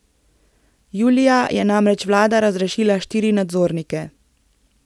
Julija je namreč vlada razrešila štiri nadzornike.